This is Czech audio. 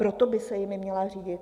Proto by se jimi měla řídit.